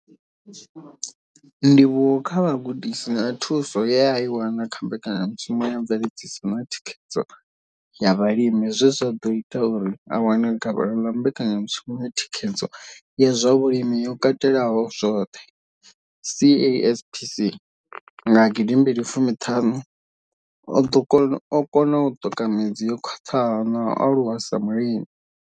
Ndivhuwo kha vhugudisi na thuso ye a i wana kha Mbekanya mushumo ya Mveledziso na Thikhedzo ya Vhalimi zwe zwa ḓo ita uri a wane gavhelo ḽa Mbekanya mushumo ya Thikhedzo ya zwa Vhulimi yo Katelaho zwoṱhe, CASPC, nga gidi mbili fumi thanu, o kona u ṱoka midzi yo khwaṱhaho na u aluwa sa mulimi.